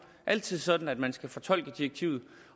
altid sådan at man skal fortolke direktivet